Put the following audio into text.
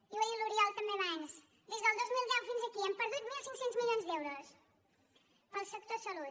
i ho ha dit l’oriol també abans des del dos mil deu fins aquí hem perdut mil cinc cents milions d’euros per al sector salut